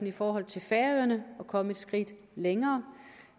i forhold til færøerne at komme et skridt længere